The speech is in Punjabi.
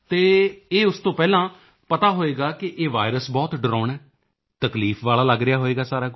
ਅਤੇ ਇਹ ਉਸ ਤੋਂ ਪਹਿਲਾਂ ਪਤਾ ਹੋਵੇਗਾ ਕਿ ਇਹ ਵਾਇਰਸ ਬਹੁਤ ਡਰਾਉਣਾ ਹੈ ਤਕਲੀਫ ਵਾਲਾ ਲੱਗ ਰਿਹਾ ਹੈ ਸਭ